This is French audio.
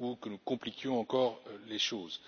ou que nous compliquions encore les choses.